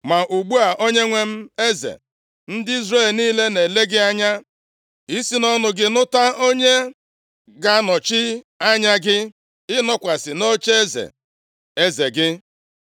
Ma ugbu a, onyenwe m eze, ndị Izrel niile na-ele gị anya isi nʼọnụ gị nụta onye ga-anọchi anya gị, ịnọkwasị nʼocheeze eze gị.